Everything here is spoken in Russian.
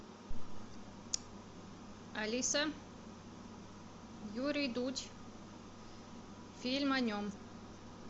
алиса юрий дудь фильм о нем